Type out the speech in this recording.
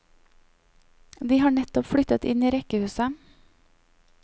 De har nettopp flyttet inn i rekkehuset.